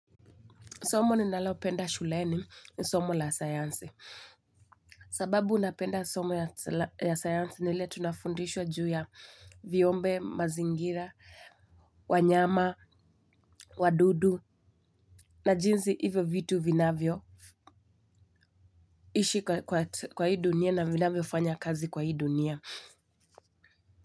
Somo ninalopenda shuleni, ni somo la sayansi. Sababu napenda somo ya sayansi ni ile tunafundishwa juu ya viumbe, mazingira, wanyama, wadudu na jinsi hivyo vitu vinavyo ishi kwa hii dunia na vinavyo fanya kazi kwa hii dunia.